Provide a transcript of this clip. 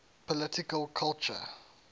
political culture